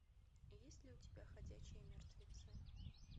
есть ли у тебя ходячие мертвецы